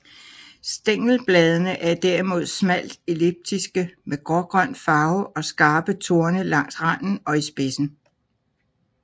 Stængelbladene er derimod smalt elliptiske med grågrøn farve og skarpe torne langs randen og i spidsen